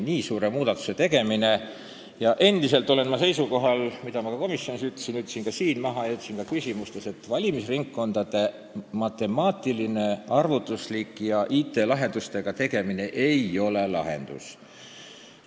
Endiselt olen ma sellel seisukohal, nagu ma komisjonis ütlesin, ma ütlesin seda ka siin ja kajastasin seda seisukohta oma küsimustes, et valimisringkondade matemaatiline, arvutuslik tegemine IT-lahenduste abil ei ole lahendus.